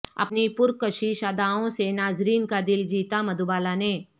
اپنی پرکشش ادائوں سے ناظرین کا دل جیتا مدھوبالا نے